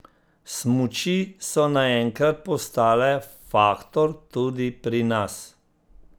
Smuči so naenkrat postale faktor tudi pri nas.